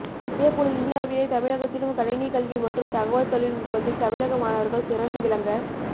இதே போல் இந்தியாவிலே தமிழகத்திலும் கணினிக் கல்வி மற்றும் தகவல் தொழில்நுட்பத்தில் தமிழக மாணவர்கள் சிறந்து விளங்க